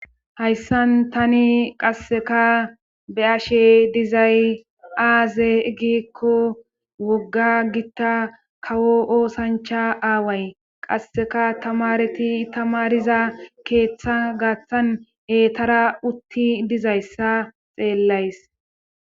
hayssan tani qasseka be ashe dizay aaze egikko wogga gitta kawo oosancha aaway qasseka tamareti tamariza keeththa gaaththan eetara utti dizayssa xeellays